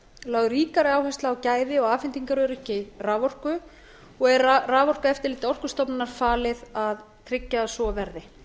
lögð ríkari áhersla á gæði og afhendingaröryggi raforku og er raforkueftirliti orkustofnunar falið að tryggja að svo verði